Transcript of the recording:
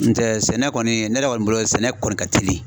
N tɛ sɛnɛ kɔni, ne yɛrɛ kɔni bolo, sɛnɛ kɔni ka teli.